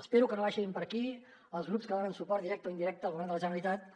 espero que no vagin per aquí els grups que donen suport directe o indirecte al govern de la generalitat